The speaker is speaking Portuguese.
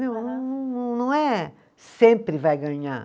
não é sempre vai ganhar.